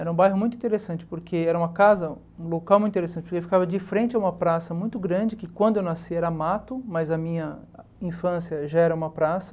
Era um bairro muito interessante, porque era uma casa, um local muito interessante, porque ficava de frente a uma praça muito grande, que quando eu nasci era mato, mas a minha infância já era uma praça.